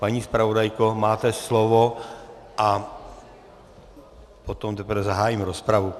Paní zpravodajko, máte slovo, a potom teprve zahájím rozpravu.